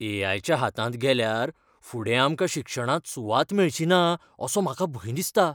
ए. I. च्या हातांत गेल्यार फुडें आमकां शिक्षणांत सुवात मेळची ना असो म्हाका भंय दिसता.